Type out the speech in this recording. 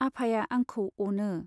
आफाया आंखौ अनो।